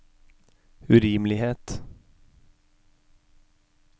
urimelighet